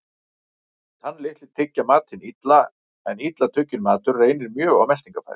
Tannlitlir tyggja matinn illa, en illa tugginn matur reynir mjög á meltingarfæri.